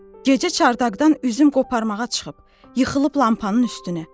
Gecə çardaqdan üzüm qoparmağa çıxıb yıxılıb lampanın üstünə.